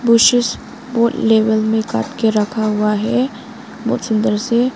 Bushes को level में काट के रखा हुआ है बहुत सुंदर से।